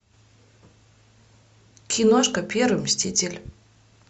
киношка первый мститель